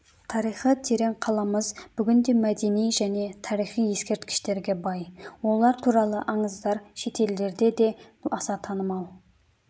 тарихы терең қаламыз бүгінде мәдени және тарихи ескерткіштерге бай олар туралы аңыздар шетелдерде де аса танымал